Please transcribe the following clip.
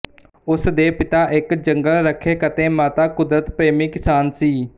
ਉਸ ਦੇ ਪਿਤਾ ਇੱਕ ਜੰਗਲ ਰੱਖਿਅਕ ਅਤੇ ਮਾਤਾ ਕੁਦਰਤ ਪ੍ਰੇਮੀ ਕਿਸਾਨ ਸੀ